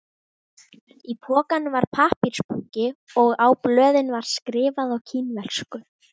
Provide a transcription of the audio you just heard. Í pokanum var pappírsbunki og á blöðin var skrifað á kínversku